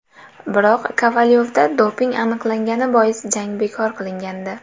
Biroq Kovalyovda doping aniqlangani bois jang bekor qilingandi .